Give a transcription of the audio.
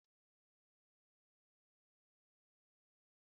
Mástá Instant Nụ́dúls dị ụkọ